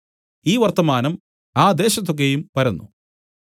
ഈ വർത്തമാനം ആ ദേശത്തു ഒക്കെയും പരന്നു